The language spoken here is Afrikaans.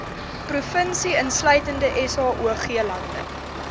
provinsie insluitende saoglande